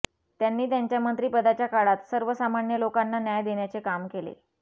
त्यांनी त्यांच्या मंत्रिपदाच्या काळात सर्वसामान्य लोकांना न्याय देण्याचे काम केले